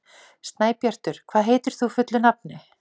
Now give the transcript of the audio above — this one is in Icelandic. Snæbjartur, hvað heitir þú fullu nafni?